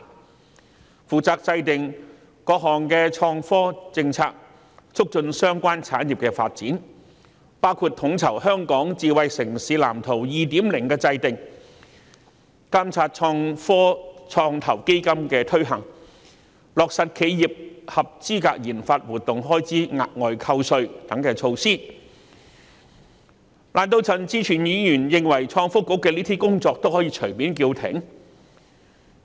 該局負責制訂各項創科政策，促進相關產業發展，包括統籌《香港智慧城市藍圖 2.0》的制訂、監察創科創投基金的推行情況，以及落實企業合資格研發活動開支額外扣稅等措施，難道陳志全議員認為創新及科技局的上述工作是可以隨便叫停的嗎？